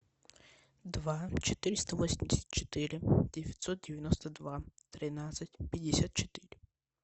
два четыреста восемьдесят четыре девятьсот девяносто два тринадцать пятьдесят четыре